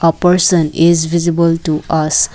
a person is visible to us.